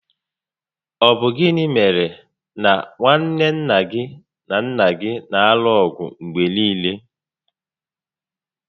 Ọ bụ gịnị mèrè na nwanne nna gị na nnà gị na alụ ọgụ mgbe niile?